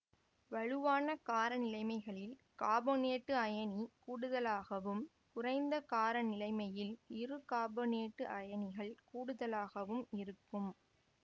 வலுவான கார நிலைமைகளில் காபனேட்டு அயனி கூடுதலாகவும் குறைந்த கார நிலைமையில் இருகாபனேட்டு அயனிகள் கூடுதலாகவும் இருக்கும்